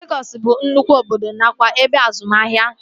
Legọs bụ nnụkwụ obodo nakwa ebe azụmahịa